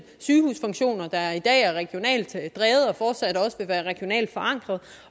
sygehusfunktioner der i dag er regionalt drevet og fortsat også vil være regionalt forankret